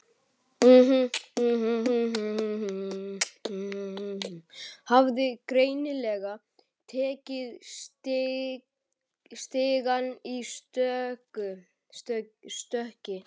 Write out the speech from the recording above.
Hafði greinilega tekið stigann í stökki.